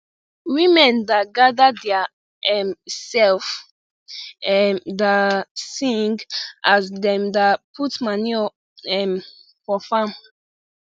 women da gada dia um sef um da sing as dem da put manure um for farm